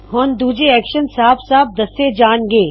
ਹੋਰ ਦੂੱਜੇ ਐਕਸ਼ਨ ਸਾਫ ਸਾਫ ਦੱਸੇ ਜਾਣ ਗੇ